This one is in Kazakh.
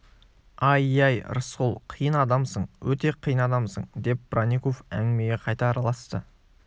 ай-яй рысқұл қиын адамсың өте қиын адамсың деп бронников әңгімеге қайта араласты